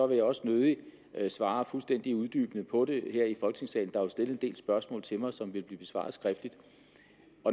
vil jeg også nødig svare fuldstændig uddybende på det her i folketingssalen der er jo stillet en del spørgsmål til mig som vil blive besvaret skriftligt